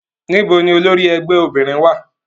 Nibo ni olori ẹgbẹ obinrin wa?